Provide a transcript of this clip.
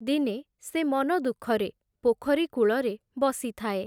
ଦିନେ ସେ ମନଦୁଃଖରେ, ପୋଖରୀ କୂଳରେ ବସିଥାଏ ।